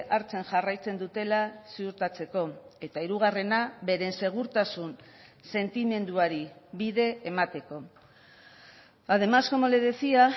hartzen jarraitzen dutela ziurtatzeko eta hirugarrena beren segurtasun sentimenduari bide emateko además como le decía